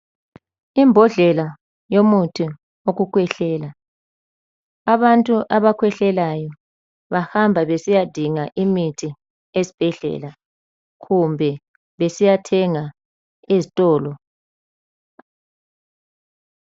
Imbodlela yomuthi wokukhwehlela. Abantu abakhwehlelayo bahamba besiyadinga imithi esibhedlela kumbe besiyathenga ezitolo